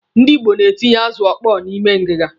Ndị Igbo na-etinye azụ ọkpọọ n'ime ngiga.